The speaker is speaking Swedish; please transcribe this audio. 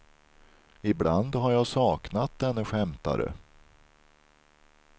Ibland har jag saknat denne skämtare.